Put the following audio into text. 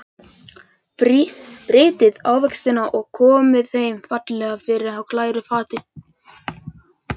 Brytjið ávextina og komið þeim fallega fyrir á glæru fati.